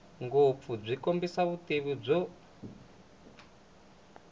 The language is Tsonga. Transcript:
ngopfu byi kombisa vutivi byo